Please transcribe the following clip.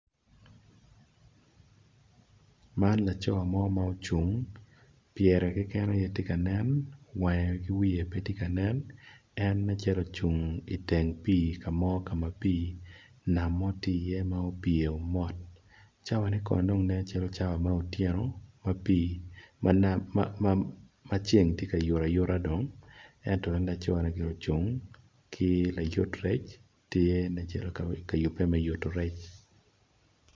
Man laco mo ma ocung pyere keken aye tye ka nen wange ki wiye pe tye ka nen en nen calo ocung iteng pi kama pi nam tye ma opyeo mot cawa ne kono dong nen cawa me otieno maceng tye ka yuto ayuta dong ento en laconigire ocung ki layut rec tye nen calo me kayube me yuto rec.